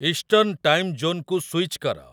eastern time zone କୁ switch କର